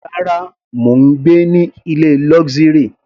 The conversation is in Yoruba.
Rárá, mò ń gbé ní ilé luxury.